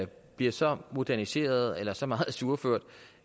bliver så moderniseret eller så meget ajourført